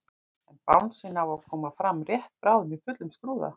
En bangsinn á að koma fram rétt bráðum í fullum skrúða.